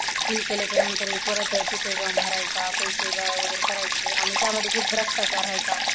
fill केल्याच्या नंतर परत तिथे जाऊन भरायचा पैसे गोळा वैगरे करायचे आणि त्यामध्ये खूप भ्रष्टाचार व्हायचा